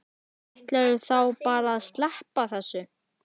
Ætlarðu þá bara að sleppa þessu?